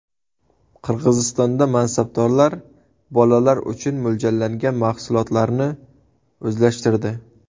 Qirg‘izistonda mansabdorlar bolalar uchun mo‘ljallangan mahsulotlarni o‘zlashtirdi.